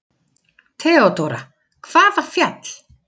THEODÓRA: Hvaða fjall?